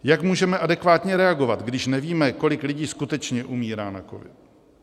Jak můžeme adekvátně reagovat, když nevíme, kolik lidí skutečně umírá na covid?